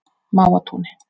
Mávatúni